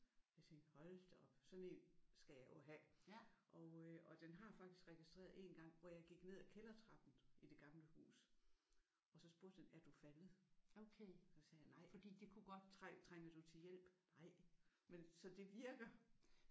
Jeg tænkte hold da op sådan en skal jeg jo have! Og øh og den har faktisk registreret en gang hvor jeg gik ned af kældertrappen i det gamle hus og så spurgte den er du faldet? Så sagde jeg nej. Trænger du til hjælp? Nej. Men så det virker!